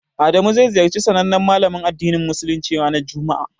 Adamu zai ziyarci sanannen malamin addinin musuluncin ranar juma'a.